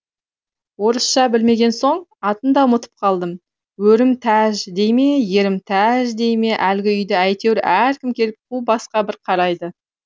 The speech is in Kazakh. орысша білмеген соң атын да ұмытып қалдым өрім тәж дей ме ерім тәж дей ме әлгі үйді әйтеуір әркім келіп қу басқа бір қарайды